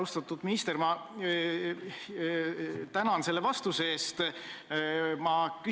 Austatud minister, ma tänan selle vastuse eest!